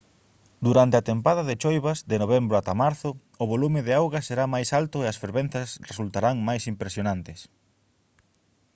durante a tempada de choivas de novembro ata marzo o volume de auga será máis alto e as fervenzas resultarán máis impresionantes